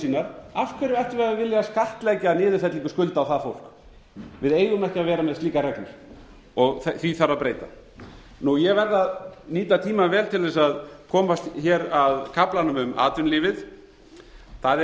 sínar af hverju ættum við að vilja skattleggja niðurfellingu skulda á það fólk við eigum ekki að vera með slíkar reglur því þarf að breyta ég verð að nýta tímann vel til þess að komast hér að kaflanum um atvinnulífið það er